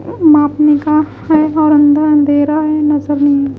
मापने का है और अंदर अंधेरा है नजर नहीं आ रहा।